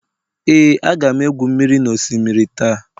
Ee, aga m egwu mmiri n'osimiri taa.